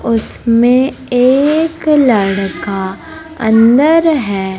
उसमें एक लड़का अंदर है।